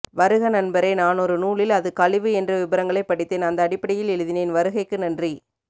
வருக நண்பரே நானொரு நூலில் அது கழிவு என்ற விபரங்களை படித்தேன் அந்த அடிப்படையில் எழுதினேன் வருகைக்கு நன்றி